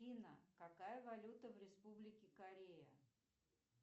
афина какая валюта в республике корея